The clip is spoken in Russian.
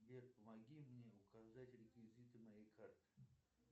сбер помоги мне указать реквизиты моей карты